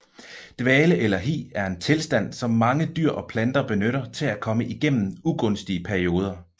Dvale eller hi er en tilstand som mange dyr og planter benytter til at komme igennem ugunstige perioder